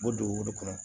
U bɛ don olu kɔnɔ